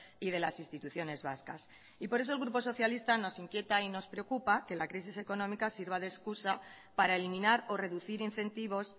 y de las instituciones vascas por eso el grupo socialista nos inquieta y nos preocupa que la crisis económica sirva de excusa para eliminar o reducir incentivos